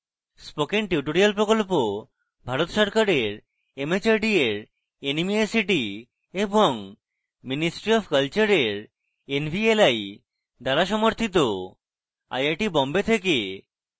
spoken tutorial project ভারত সরকারের mhrd এর nmeict এবং ministry অফ কলচারের nvli দ্বারা সমর্থিত